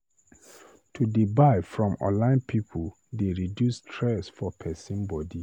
To dey buy from online pipu dey reduce stress for pesin body.